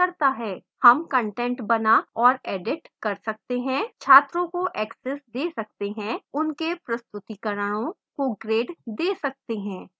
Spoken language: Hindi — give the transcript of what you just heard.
हम कंटेंट बना और edit संपादित कर सकते हैं छात्रों को access we सकते हैं उनके प्रस्तुतिकरणों को grade we सकते हैं आदि